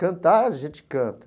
Cantar, a gente canta.